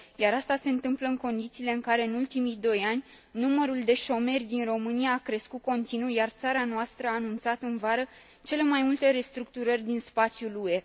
Iar asta se întâmplă în condițiile în care, în ultimii doi ani, numărul de șomeri din România a crescut continuu, iar țara noastră a anunțat în vară cele mai multe restructurări din spațiul UE.